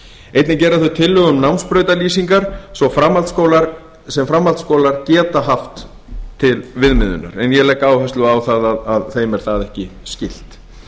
einnig gera þau tillögu um námsbrautarlýsingar sem framhaldsskólar geta haft til viðmiðunar en ég legg áherslu á að þeim er það ekki skylt